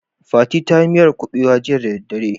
Fati ta yi miyar kuɓewa jiya da dare.